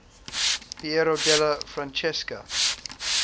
piero della francesca